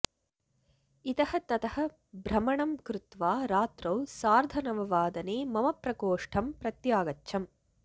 इतः ततः भ्रमणं कृत्वा रात्रौ सार्धनववादने मम प्रकोष्ठं प्रत्यागच्छम्